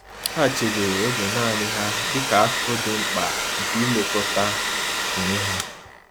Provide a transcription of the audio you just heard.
Ha chebere oge naanị ha dịka akụkụ dị mkpa nke ilekọta onwe ha.